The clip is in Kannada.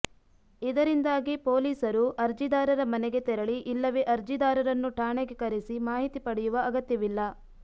ಇದರಿಂದಾಗಿ ಪೊಲಿಸರು ಅರ್ಜಿದಾರರ ಮನೆಗೆ ತೆರಳಿ ಇಲ್ಲವೇ ಅರ್ಜಿದಾರರನ್ನು ಠಾಣೆಗೆ ಕರೆಸಿ ಮಾಹಿತಿ ಪಡೆಯುವ ಅಗತ್ಯವಿಲ್ಲ